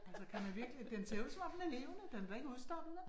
Altså man man virkelig den ser ud som om den er levende, den er da ikke udstoppet, vel?